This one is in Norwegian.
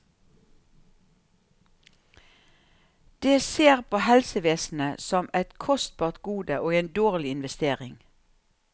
Det ser på helsevesenet som et kostbart gode og en dårlig investering.